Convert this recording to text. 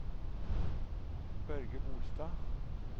Børge Bolstad